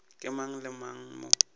ke mang le mang mo